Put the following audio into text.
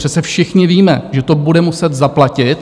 Přece všichni víme, že to bude muset zaplatit.